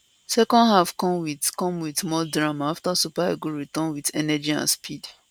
second half come wit come wit more drama afta super eagles return wit energy and speed